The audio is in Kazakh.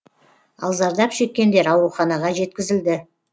ал зардап шеккендер ауруханаға жеткізілді